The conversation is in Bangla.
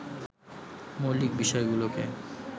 মৌলিক বিষয়গুলোকে